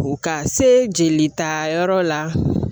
Ka se jelita yɔrɔw la